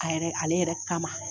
A yɛrɛ ale yɛrɛ kama